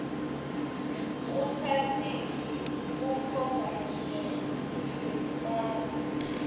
utsatsise kumkhombandlela wekufaka